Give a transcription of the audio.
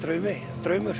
draumur